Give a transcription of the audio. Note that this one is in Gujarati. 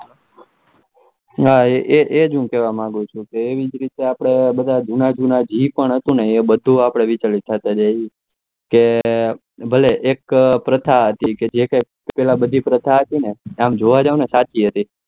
હા એજ એજ ઔ કેવા માગ્યું છું કે એવી જ રીતે આપડે જુનાજુના જેપણ હતું એ આપડે વિચલિત થતા જાય છે એ એક પ્રથા હતું કે કે જેપેલા બધી પ્રથા હતીઆમ જોવા જાવ તો એ સાચી જ હતી